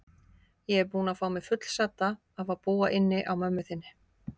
Ég er búin að fá mig fullsadda af að búa inni á mömmu þinni.